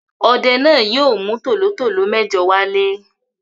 Ọdẹ náà yóò mú tòlótòtó mẹ́jọ wálé.